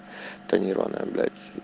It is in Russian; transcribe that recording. тонированная блять